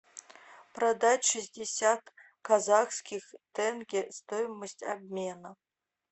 продать шестьдесят казахских тенге стоимость обмена